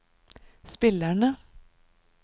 spillerne